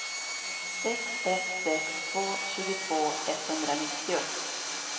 sex ett sex två tjugotvå etthundranittio